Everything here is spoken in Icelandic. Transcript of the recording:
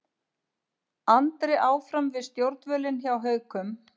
Andri áfram við stjórnvölinn hjá Haukum